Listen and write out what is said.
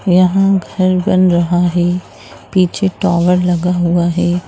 यहां घर बन रहा है पीछे टावर लगा हुआ है ।